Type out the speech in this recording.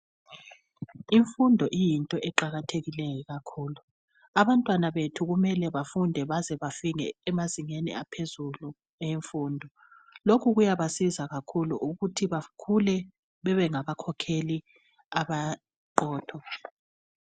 Imfundo uyinto eqakathekileyo kakhulu. Abantwana bethu kumele bafunde baze bafike emazingeni aphezulu ayemfundo. Lokhu kuyabasiza kakhulu ukuthi bakhule babengaba khokheli aba qotho.